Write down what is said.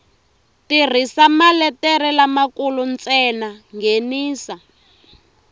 tirhisa maletere lamakulu ntsena nghenisa